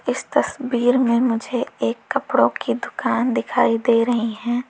इस तस्वीर में मुझे एक कपड़ों की दुकान दिखाई दे रही है।